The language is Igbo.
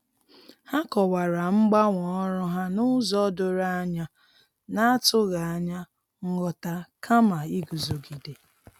Ha kọwara mgbanwe ọrụ ha n'ụzọ doro anya, na-atụ anya nghọta kama iguzogide.